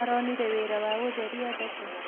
Aronire wĩra wa gũtheria thoko?